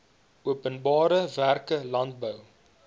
openbare werke landbou